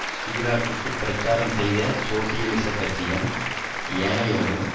சிராக்கு பிரச்சாரம் செய்த சோசியலிசக் கட்சியும் ஏனையோரும்